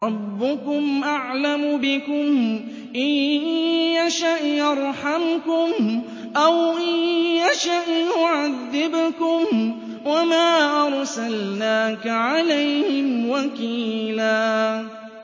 رَّبُّكُمْ أَعْلَمُ بِكُمْ ۖ إِن يَشَأْ يَرْحَمْكُمْ أَوْ إِن يَشَأْ يُعَذِّبْكُمْ ۚ وَمَا أَرْسَلْنَاكَ عَلَيْهِمْ وَكِيلًا